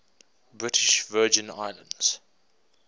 british virgin islands